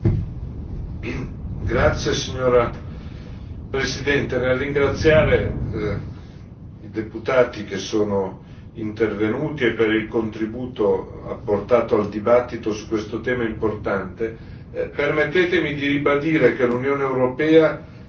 Signora Presidente, nel ringraziare i deputati che sono intervenuti per il contributo apportato al dibattito su questo tema importante, permettetemi di ribadire che l'Unione europea si iscrive in una tradizione